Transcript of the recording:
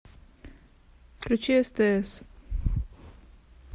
включи стс